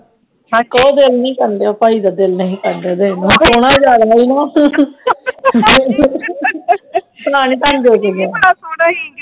ਉਡਾ ਦਿਲ ਨੀ ਸੀ ਕਰਨ ਦਿਆ ਭਾਈ ਦਾ ਸੂਟ ਦੇਣ ਚ ਸੋਹਣਾ ਬੜਾ ਸੀ ਨਾ